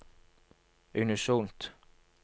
unisont